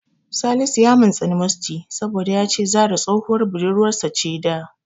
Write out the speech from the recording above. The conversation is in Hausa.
Salisu ya mintsini Musty saboda ya ce Zahra tsohuwar budurwarsa ce da.